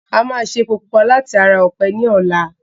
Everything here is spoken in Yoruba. A máa ṣe epo pupa láti ara ọ̀pẹ ní ọlá.